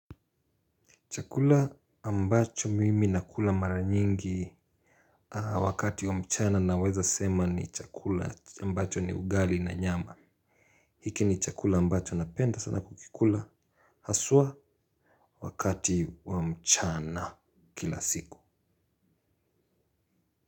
Chakula ambacho mimi na kula mara nyingi wakati wa mchana naweza sema ni chakula ambacho ni ugali na nyama. Hiki ni chakula ambacho napenda sana kukikula. Haswa wakati wa mchana kila siku.